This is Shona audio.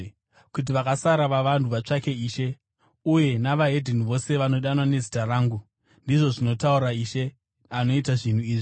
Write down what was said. kuti vakasara vavanhu vatsvake Ishe, uye neveDzimwe Ndudzi vose vanodanwa nezita rangu, ndizvo zvinotaura Ishe, anoita zvinhu izvi,’